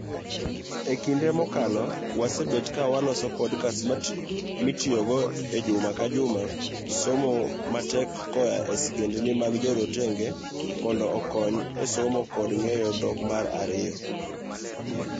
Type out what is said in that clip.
Ekinde mokalo wasebet ka waloso podcast mitiyogo ejuma kajuma somo matek koa e sigendni mag jorotenge mondo okony e somo kod ng'eyo dhok mar ariyo.